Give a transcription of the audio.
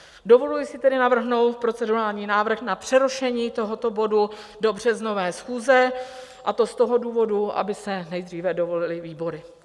Dovoluji si tedy navrhnout procedurální návrh na přerušení tohoto bodu do březnové schůze, a to z toho důvodu, aby se nejdříve dovolily výbory.